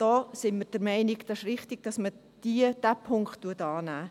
Da sind wir der Meinung, es ist richtig, dass man diesen Punkt annehmen würde.